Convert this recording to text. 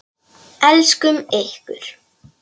Elskum ykkur.